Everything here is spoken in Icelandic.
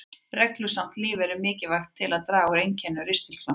Reglusamt líferni er mikilvægt til að draga úr einkennum ristilkrampa.